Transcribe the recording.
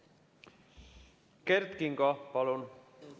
Kert Kingo, palun!